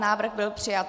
Návrh byl přijat.